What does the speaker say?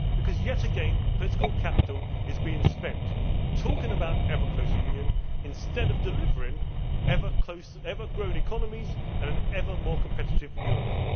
Because yet again, political capital is being spent talking about ever closer union instead of delivering ever growing economies and an ever more competitive Europe.